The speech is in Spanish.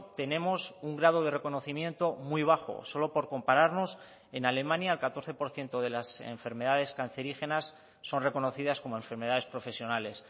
tenemos un grado de reconocimiento muy bajo solo por compararnos en alemania el catorce por ciento de las enfermedades cancerígenas son reconocidas como enfermedades profesionales